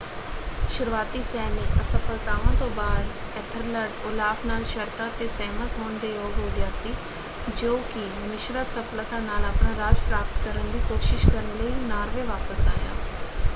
ਸ਼ੁਰੂਆਤੀ ਸੈਨਿਕ ਅਸਫ਼ਲਤਾਵਾਂ ਤੋਂ ਬਾਅਦ ਐਥਲਰਡ ਓਲਾਫ਼ ਨਾਲ ਸ਼ਰਤਾਂ 'ਤੇ ਸਹਿਮਤ ਹੋਣ ਦੇ ਯੋਗ ਹੋ ਗਿਆ ਸੀ ਜੋ ਕਿ ਮਿਸ਼ਰਤ ਸਫ਼ਲਤਾ ਨਾਲ ਆਪਣਾ ਰਾਜ ਪ੍ਰਾਪਤ ਕਰਨ ਦੀ ਕੋਸ਼ਿਸ਼ ਕਰਨ ਲਈ ਨਾਰਵੇ ਵਾਪਸ ਆਇਆ।